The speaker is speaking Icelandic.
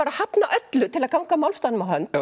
að hafna öllu til að ganga málstaðnum á hönd